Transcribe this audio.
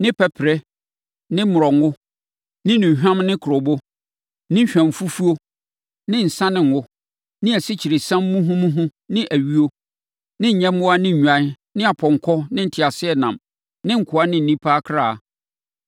ne pɛperɛ ne mmorɔngo, ne nnuhwam ne kurobo, ne hwamfufuo ne nsã ne ngo, ne asikyiresiam muhumuhu ne ayuo, ne nyɛmmoa ne nnwan ne apɔnkɔ ne nteaseɛnam ne nkoa ne nnipa akra.